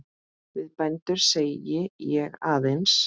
Við bændur segi ég aðeins.